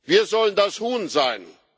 Wir sollen das Huhn sein.